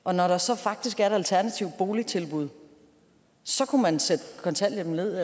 og når der så faktisk er et alternativt boligtilbud kunne man sætte kontanthjælpen ned